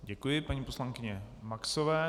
Děkuji paní poslankyni Maxové.